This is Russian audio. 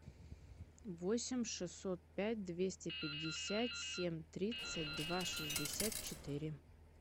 восемь шестьсот пять двести пятьдесят семь тридцать два шестьдесят четыре